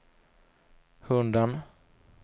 hunden